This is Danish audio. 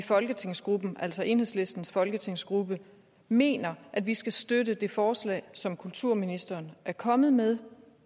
i folketingsgruppen altså enhedslistens folketingsgruppe mener at vi skal støtte det forslag som kulturministeren er kommet med